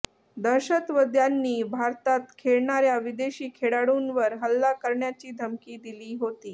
दहशतवद्यांनी भारतात खेळणार्या विदेशी खेळाडूंवर हल्ला करण्याची धमकी दिली होती